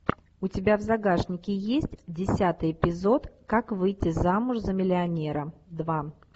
у тебя в загашнике есть десятый эпизод как выйти замуж за миллионера два